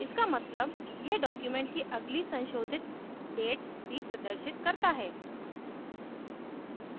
इसका मतलब यह document की अगली संशोधित date भी प्रदर्शित करता है